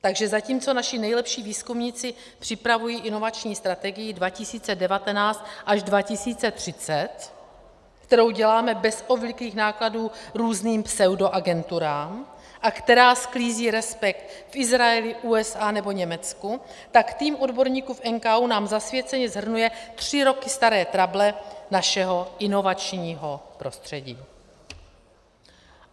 Takže zatímco naši nejlepší výzkumníci připravují inovační strategii 2019 až 2030, kterou děláme bez obvyklých nákladů různým pseudoagenturám a která sklízí respekt v Izraeli, USA nebo Německu, tak tým odborníků v NKÚ nám zasvěceně shrnuje tři roky staré trable našeho inovačního prostředí.